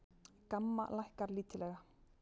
GAMMA lækkar lítillega